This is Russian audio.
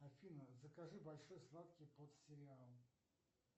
афина закажи большой сладкий под сериал